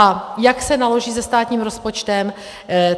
A jak se naloží se státním rozpočtem?